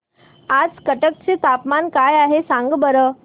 आज कटक चे तापमान काय आहे सांगा बरं